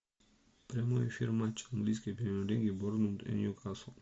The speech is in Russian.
прямой эфир матча английской премьер лиги борнмут и ньюкасл